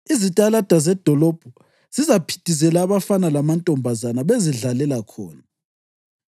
Izitalada zedolobho zizaphithizela abafana lamantombazana bezidlalela khona.”